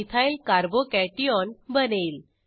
ethyl Carbo cationch3 च2 बनेल